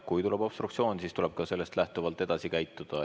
Kui tuleb obstruktsioon, siis tuleb ka sellest lähtuvalt edasi käituda.